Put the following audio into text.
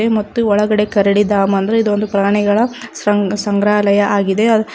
ಮತ್ತು ಒಳಗಡೆ ಕರಡಿ ದಾಮ ಅಂದ್ರು ಇದೊಂದು ಪ್ರಾಣಿಗಳ ಸಂಗ ಕಂಗ್ರಾಲಯ ಆಗಿದೆ.